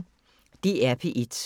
DR P1